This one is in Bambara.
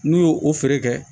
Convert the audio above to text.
N'u y'o o feere kɛ